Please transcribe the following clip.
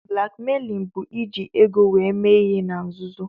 Blakmeilin bụ iji ego were mee ihe na-nzuzo